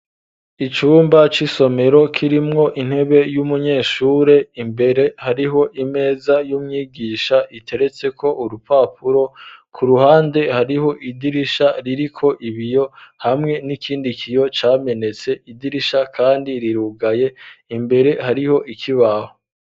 Icumba c'isomero kirimwo intebe y'umunyeshure imbere hariho imeza y'umwigisha iteretseko urupapuro kuruhande hariho idirisha ririko ibiyo hamwe n'ikindi kiyo camenetse, idirisha kandi rirugaye imbere hariho ikibaho.